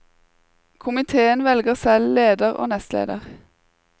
Komiteen velger selv leder og nestleder.